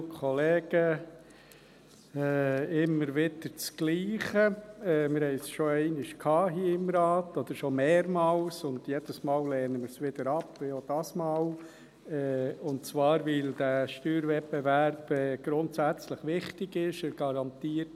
Wir hatten es schon einmal hier im Grossen Rat, oder schon mehrmals, und jedes Mal lehnen wir es ab, auch dieses Mal, und zwar, weil dieser Steuerwettbewerb grundsätzlich wichtig ist.